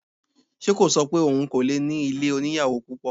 Ṣe kò ṣọ pé òun kò lè ní ilé oníyàwò púpọ̀?